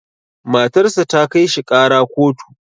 Matar sa ta kai shi ƙara kotu.